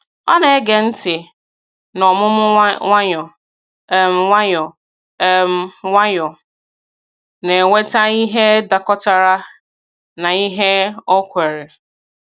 Ọ na-ege ntị n’ọmụmụ nwayọ um nwayọ, um nwayọ, na-eweta ihe dakọtara na ihe o kweere.